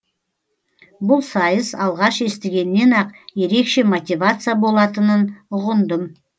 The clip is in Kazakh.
бұл сайыс алғаш естігеннен ақ ерекше мотивация болатынын ұғындым